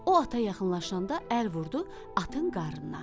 O ata yaxınlaşanda əl vurdu atın qarnına.